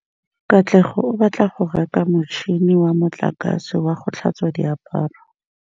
Katlego o batla go reka motšhine wa motlakase wa go tlhatswa diaparo.